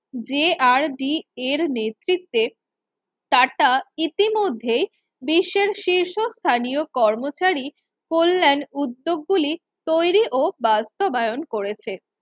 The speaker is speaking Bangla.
যে আর ডি এর নেতৃত্বে টাটা ইতিমধ্যে বিশ্বের শীর্ষস্থানীয় কর্মচারী কল্যাণ উদ্যোগগুলি তৈরি ও বাস্তবায়ন করেছে